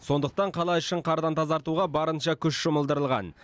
сондықтан қала ішін қардан тазартуға барынша күш жұмылдырылған